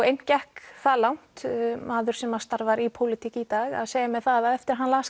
einn gekk það langt maður sem starfar í pólitík í dag að segja mér það að eftir að hann las